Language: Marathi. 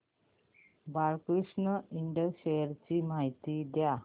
बाळकृष्ण इंड शेअर्स ची माहिती द्या